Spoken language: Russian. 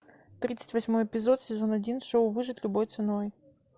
тридцать восьмой эпизод сезон один шоу выжить любой ценой